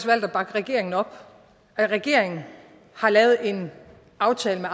valgt at bakke regeringen op regeringen har lavet en aftale med